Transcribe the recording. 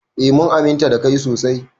Eh mun aminta da kai sosai.